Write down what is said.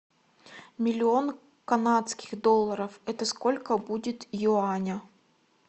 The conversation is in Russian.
миллион канадских долларов это сколько будет юаня